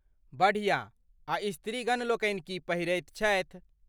बढ़िया आ स्त्रीगण लोकनि की पहिरैत छथि?